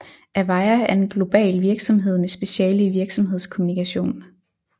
Avaya er en global virksomhed med speciale i virksomhedskommunikation